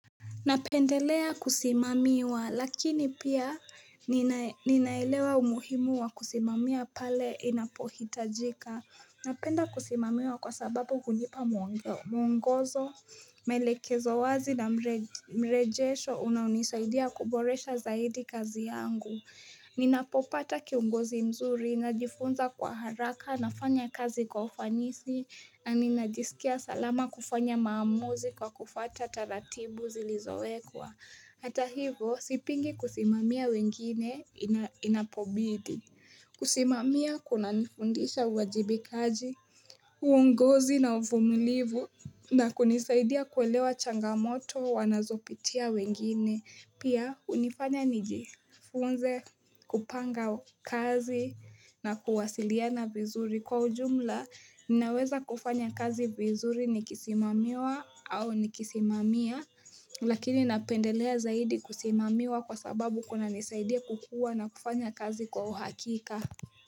Napendelea kusimamiwa, lakini pia ninaelewa umuhimu wa kusimamia pale inapohitajika. Napenda kusimamiwa kwa sababu hunipa mwongozo, maelekezo wazi na mrejesho unanisaidia kuboresha zaidi kazi yangu. Ninapopata kiongozi mzuri, najifunza kwa haraka, nafanya kazi kwa ufanisi, na ninajisikia salama kufanya maamuzi kwa kufuata taratibu zilizowekwa. Hata hivo, sipingi kusimamia wengine inapobidi. Kusimamia kunanifundisha uwajibikaji, uongozi na uvumilivu, na kunisaidia kuelewa changamoto wanazopitia wengine. Pia hunifanya nijifunze kupanga kazi na kuwasiliana vizuri. Kwa ujumla, ninaweza kufanya kazi vizuri nikisimamiwa au nikisimamia, lakini napendelea zaidi kusimamiwa kwa sababu kunanisaidia kukuwa na kufanya kazi kwa uhakika.